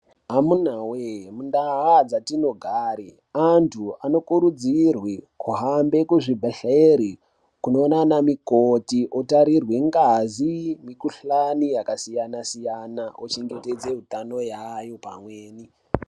Amunawee muntaa dzatinogare antu anokurudzirwe kuhambe kuzvibhedhlere ,kunoona anamukoti, otarirwe ngazi , mikhuhlani yakasiyana-siyana ochengetedze utano yaayo pamweni.